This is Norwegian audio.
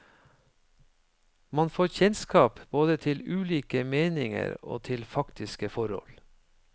Man får kjennskap både til ulike meninger og til faktiske forhold.